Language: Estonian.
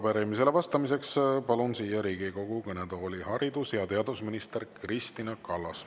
Ja arupärimisele vastamiseks palun siia Riigikogu kõnetooli haridus- ja teadusminister Kristina Kallase.